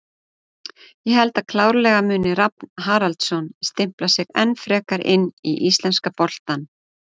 Ég held að klárlega muni Rafn Haraldsson stimpla sig enn frekar inn í íslenska boltann.